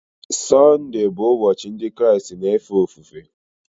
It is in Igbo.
Sunday bụ ụbọchị ndị Kraịst na-efe ofufe